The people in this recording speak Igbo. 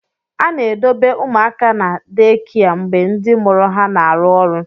A na-edobe ụmụaka na deekia mgbe ndị mụrụ ha na-arụ ọrụ.